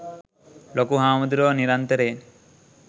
ලොකු හාමුදුරුවෝ නිරන්තරයෙන්